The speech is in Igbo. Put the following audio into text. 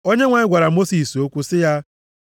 Onyenwe anyị gwara Mosis okwu sị ya,